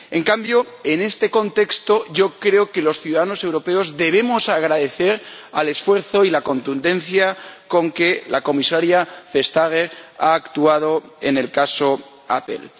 En cambio, en este contexto yo creo que los ciudadanos europeos debemos agradecer el esfuerzo y la contundencia con que la Comisaria Vestager ha actuado en el caso Apple.